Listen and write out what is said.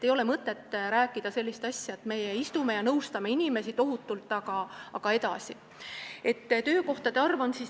Ei ole mõtet lihtsalt rääkida, et meie istume siin ja tohutult nõustame inimesi.